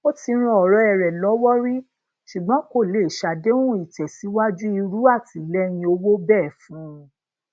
ó ti ran ọrẹ rẹ lọwọ ri ṣùgbọn kò lè ṣe àdéhùn ìtẹsíwájú iru àtìlẹyìn owó bee fun